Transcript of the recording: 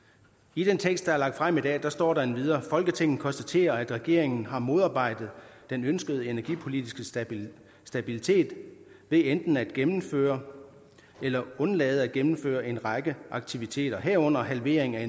i den tekst der er lagt frem i dag står der endvidere at folketinget konstaterer at regeringen har modarbejdet den ønskede energipolitiske stabilitet stabilitet ved enten at gennemføre eller undlade at gennemføre en række aktiviteter herunder halvering af